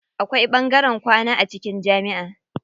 Akwai ɓangaren kwana a cikin jamiʼa.